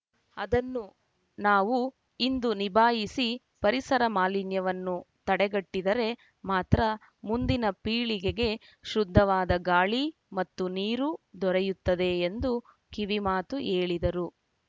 ಅದನ್ನು ನಾವು ಇಂದು ನಿಭಾಯಿಸಿ ಪರಿಸರ ಮಾಲಿನ್ಯವನ್ನು ತಡೆಗಟ್ಟಿದರೆ ಮಾತ್ರ ಮುಂದಿನ ಪೀಳಿಗೆಗೆ ಶುದ್ದವಾದ ಗಾಳಿ ಮತ್ತು ನೀರು ದೊರೆಯುತ್ತದೆ ಎಂದು ಕಿವಿಮಾತು ಹೇಳಿದರು